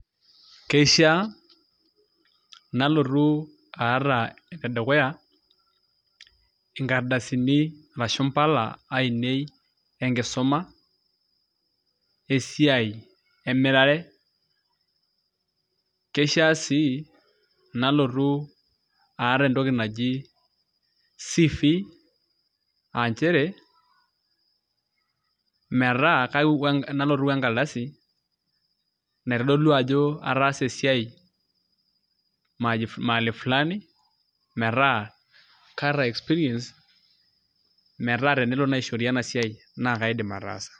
Keishiaa nalotu aata enedukuya nkardasini arashu impala ainei enkisuma esiai emirare keishia sii nalotu aata entoki naji CV aa nchere metaa nalotu onkardasi naitodolu ajo ataasa esiai mahali flani metaa kaata experience metaa tenelo naishori ena siai naa kaidim ataasa.